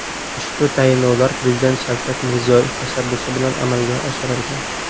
Ushbu tayinlovlar Prezident Shavkat Mirziyoyev tashabbusi bilan amalga oshirilgan.